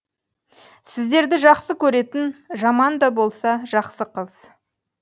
сіздерді жақсы көретін жаман да болса жақсы қыз